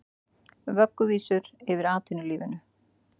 Vögguvísur yfir atvinnulífinu